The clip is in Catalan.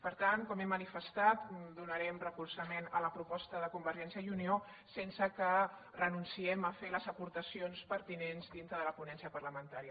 per tant com he manifestat donarem suport a la proposta de convergència i unió sense que renunciem a fer les aportacions pertinents dintre de la ponència parlamentària